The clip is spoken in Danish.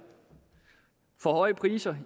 for høje priser